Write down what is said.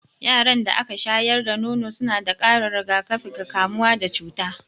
Yaran da aka shayar da nono suna da ƙarin rigakafi ga kamuwa da cuta.